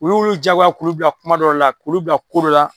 U y'olu jagoya k'olu bila kuma dɔ de la, k'olu bila ko dɔ la.